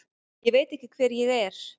Ég veit ekki hver ég er.